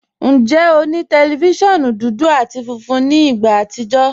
Njẹ́, ọ ni tẹlifíṣíọ̀nù dúdú àti fúnfún ní ìgbà àtìjọ̀?